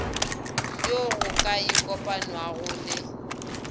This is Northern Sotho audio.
yo go ka ikopanwago le